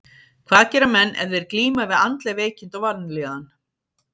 Hvað gera menn ef þeir glíma við andleg veikindi og vanlíðan?